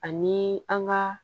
Ani an ga